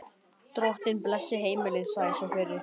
Drottinn blessi heimilið, sagði sá fyrri.